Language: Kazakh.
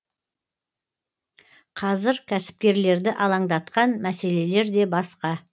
қазір кәсіпкерлерді алаңдатқан мәселелер де басқа